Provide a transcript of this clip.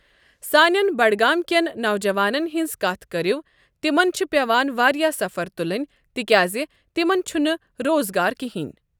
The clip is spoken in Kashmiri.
سانیٚن بَڈگام کیٚن نوجوانن ہٕنٛز کَتھ کَرو تِمن چھ پیٚوان واریاہ سفر تُلُن تِکیٚازِ تِمن چھُ نہٕ روزگار کِہنۍ ۔